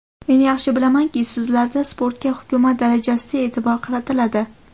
Men yaxshi bilamanki, sizlarda sportga hukumat darajasida e’tibor qaratiladi.